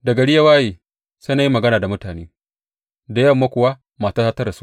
Da gari ya waye, sai na yi magana da mutane, da yamma kuwa matata ta rasu.